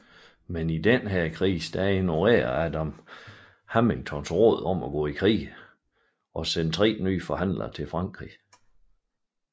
Men i denne krise ignorerede Adams Hamiltons råd om at gå i krig og sendte tre nye forhandlere til Frankrig